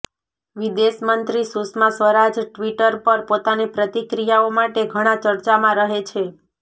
વિદેશમંત્રી સુષ્મા સ્વરાજ ટ્વીટર પર પોતાની પ્રતિક્રિયાઓ માટે ઘણા ચર્ચામાં રહે છે